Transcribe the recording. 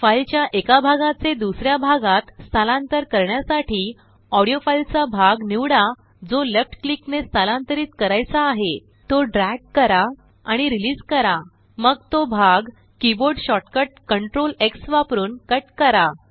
फाईलच्याएका भागाचे दुसऱ्या भागात स्थलांतर करण्यासाठी ऑडीओफाईलचा भाग निवडा जो लेफ्ट क्लिकने स्थलांतरीतकरायचा आहेतो ड्रयाग कराआणि रिलीस करा मगतो भाग किबोर्ड शॉर्टकट CtrlX वापरून कट करा